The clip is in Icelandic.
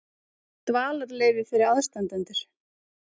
Dvalarleyfi fyrir aðstandendur.